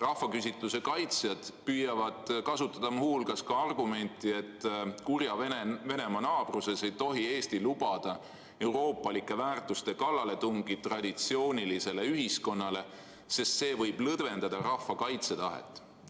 Rahvaküsitluse kaitsjad püüavad kasutada muu hulgas ka argumenti, et kurja Venemaa naabruses ei tohi Eesti lubada euroopalike väärtuste kallaletungi traditsioonilisele ühiskonnale, sest see võib nõrgendada rahva kaitsetahet.